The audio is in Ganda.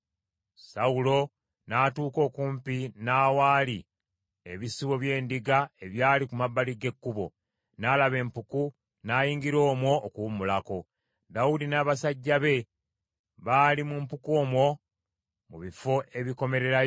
Sawulo n’atuuka okumpi n’awaali ebisibo by’endiga ebyali ku mabbali g’ekkubo, n’alaba empuku, n’ayingira omwo okuwummulako. Dawudi n’abasajja be baali mu mpuku omwo mu bifo ebikomererayo.